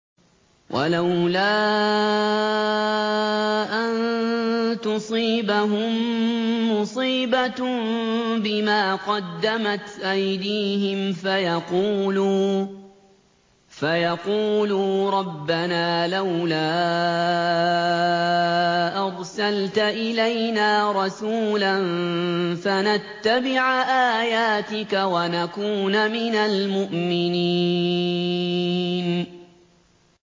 وَلَوْلَا أَن تُصِيبَهُم مُّصِيبَةٌ بِمَا قَدَّمَتْ أَيْدِيهِمْ فَيَقُولُوا رَبَّنَا لَوْلَا أَرْسَلْتَ إِلَيْنَا رَسُولًا فَنَتَّبِعَ آيَاتِكَ وَنَكُونَ مِنَ الْمُؤْمِنِينَ